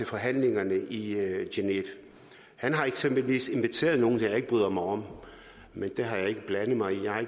forhandlingerne i genève han har eksempelvis tidligere inviteret nogle jeg ikke bryder mig om men det har jeg ikke blandet mig